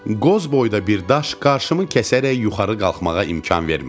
Qoz boyda bir daş qarşımı kəsərək yuxarı qalxmağa imkan vermirdi.